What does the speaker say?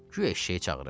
Guya eşşəyi çağırır.